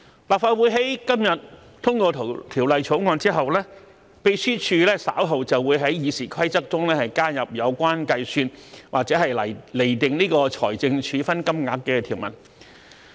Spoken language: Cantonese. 立法會在今天通過《條例草案》後，秘書處稍後便會在《議事規則》中加入有關計算或釐定財政處分金額的條文。